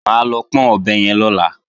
Mà á lọ pọ́n ọ̀bẹ yẹn lọ́la